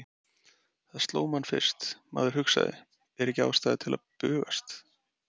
Það sló mann fyrst, maður hugsaði, er ekki ástæða til að bugast?